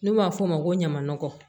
N'u b'a f'o ma ko ɲama nɔgɔ